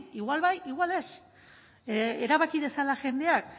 igual bai igual ez erabaki dezala jendeak